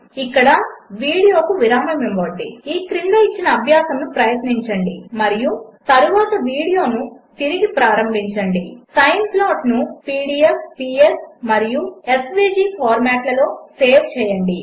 ఇక్కడ వీడియోకు విరామము ఇవ్వండి ఈ క్రింద ఇచ్చిన అభ్యాసము ప్రయత్నించండి మరియు తరువాత వీడియో తిరిగి ప్రారంభించండి సైన్ ప్లాట్ను పీడీఎఫ్ పిఎస్ మరియు ఎస్వీజీ ఫార్మాట్లలో సేవ్ చేయండి